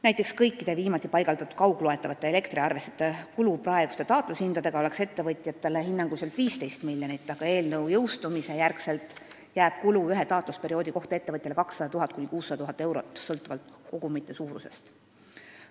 Näiteks kõikide viimati paigaldatud kaugloetavate elektriarvestite kontrolli kulu ettevõtjatele oleks praeguste taatlushindade korral hinnanguliselt 15 miljonit, aga pärast seaduse jõustumist on kulu ühe taatlusperioodi kohta ettevõtjale 200 000 – 600 000 eurot sõltuvalt kogumite suurusest.